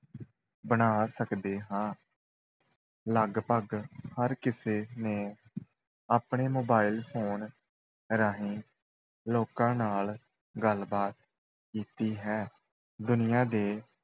ਬਣਾ ਸਕਦੇ ਹਾਂ ਲਗਭਗ ਹਰ ਕਿਸੇ ਨੇ ਆਪਣੇ mobile phone ਰਾਹੀਂ ਲੋਕਾਂ ਨਾਲ ਗੱਲਬਾਤ ਕੀਤੀ ਹੈ, ਦੁਨੀਆ ਦੇ